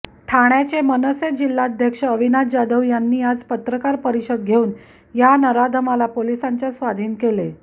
ठाण्याचे मनसे जिल्हाध्यक्ष अविनाश जाधव यांनी आज पत्रकार परिषद घेऊन या नराधमाला पोलिसांच्या स्वाधीन केले